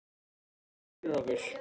Getur þú gert þetta fyrir okkur?